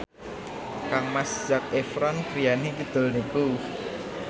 kangmas Zac Efron griyane kidul niku